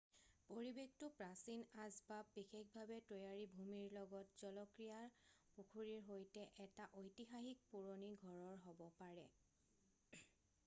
পৰিবেশটো প্ৰাচীন আঁচবাব বিশেষভাৱে তৈয়াৰী ভূমিৰ লগত জলক্ৰিয়াৰ পুখুৰীৰ সৈতে এটা ঐতিহাসিক পুৰণি ঘৰৰ হব পাৰে